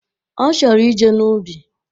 Ọ chọrọ ije n'ubi